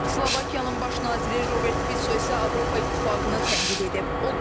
Slovakiyanın baş naziri Robert Fiso isə Avropa İttifaqının tənqid edib.